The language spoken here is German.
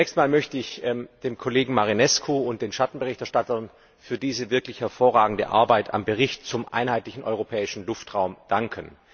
Zunächst möchte ich dem Kollegen Marinescu und den Schattenberichterstattern für diese wirklich hervorragende Arbeit am Bericht zum Einheitlichen Europäischen Luftraum danken.